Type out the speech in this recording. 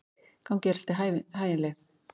Gangi þér allt í haginn, Leif.